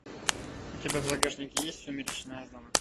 у тебя в загашнике есть сумеречная зона